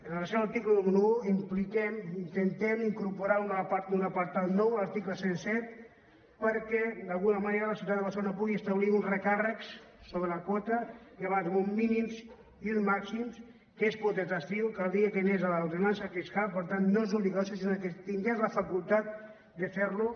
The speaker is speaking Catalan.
en el seu article número un impliquem intentem incorporar un apartat nou en l’article cent i set perquè d’alguna manera la ciutat de barcelona pugui establir uns recàrrecs sobre la quota d’uns mínims i uns màxims que és potestatiu caldria que anés a l’ordenança fiscal per tant no és obligatori sinó que tingués la facultat de fer ho